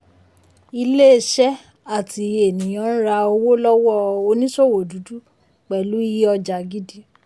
iléeṣẹ́ àti ènìyàn ń ra owó lọ́wọ́ oníṣòwò dúdú pẹ̀lú iye ọjà gidi.